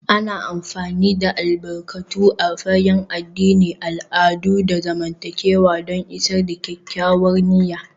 An fi amfani da albarkatu a fagen addini, al'adu, da zamantakewa don isar da kyakkyawar niyya